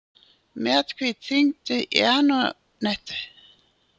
Mjallhvít, hringdu í Antonettu.